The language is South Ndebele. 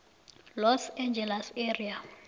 los angeles area